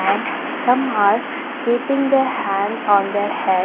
And some are keeping their hands on their head.